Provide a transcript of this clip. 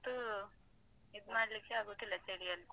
ಮಕ್ಕನ್ಳಂತೂ ಇದು ಮಾಡ್ಲಿಕ್ಕೆ ಆಗುದಿಲ್ಲ ಚಳಿಯಲ್ಲಿ.